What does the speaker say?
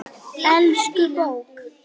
Elsku bók!